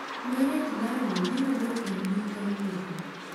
Gareth Bale biro dok e mbui kawuono